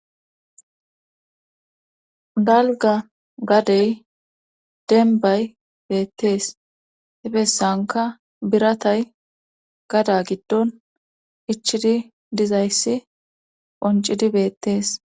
Dalga gadey denbay beettees hefessanka biratay gada giddon ichidi dizayssi qoncidi beettees.